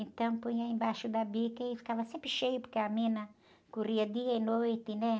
Então, punha embaixo da bica e ficava sempre cheio, porque a mina corria dia e noite, né?